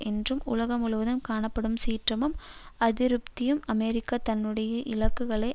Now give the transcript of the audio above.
என்றும் உலகம் முழுவதும் காணப்படும் சீற்றமும் அதிருப்தியும் அமெரிக்கா தன்னுடைய இலக்குகளை